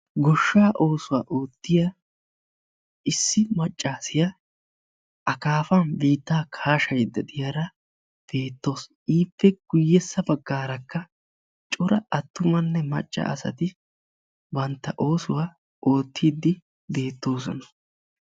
Goshshaa oosuwa oottiyaa issi maccasiyaa akaafan biittaa kaashaydda diyaara beettawusu. Ippe guyyessa baggaarakka cora attumanne macca asati bantta oosuwa oottiidi beettoosona.